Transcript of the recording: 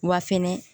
Wa fɛnɛ